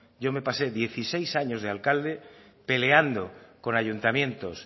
yo me pasé dieciséis años de alcalde peleando con ayuntamientos